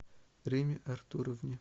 римме артуровне